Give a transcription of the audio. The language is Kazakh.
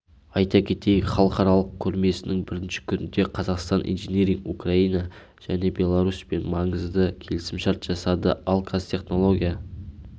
айта кетейік халықаралық көрмесінің бірінші күнінде қазақстан инжиниринг украина және беларусьпен маңызды келісімшарт жасады ал қазтехнология